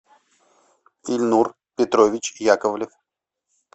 ильнур петрович яковлев